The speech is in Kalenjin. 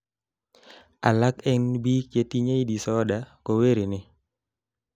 alak en biik chetinyei disorder kowireni